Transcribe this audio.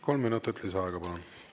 Kolm minutit lisaaega, palun!